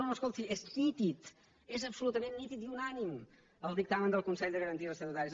no no escolti és nítid és absolutament nítid i unànime el dictamen del consell de garanties estatutàries